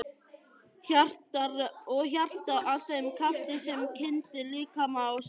Og hjartað að þeim krafti sem kyndir líkama og sál?